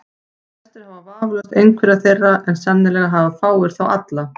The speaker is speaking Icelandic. Flestir hafa vafalaust einhverja þeirra, en sennilega hafa fáir þá alla.